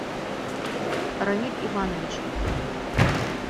рамиль иванович